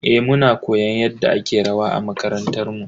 Eh, muna koyon yadda ake rawa a makarantar mu.